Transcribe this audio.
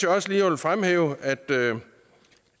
også lige vil fremhæve at der